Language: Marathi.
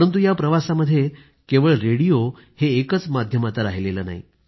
परंतु या प्रवासामध्ये केवळ रेडिओ हे एकच माध्यम आता राहिलेलं नाही